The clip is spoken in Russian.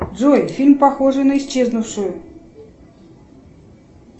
джой фильм похожий на исчезнувшую